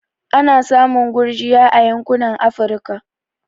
Ana samun gurjiya a yankunan Afirka